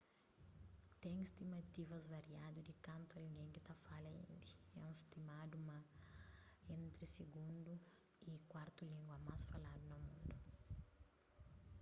ten stimativas variadu di kantu algen ki ta fala indi é stimadu ma é entri sigundu y kuartu língua más faladu na mundu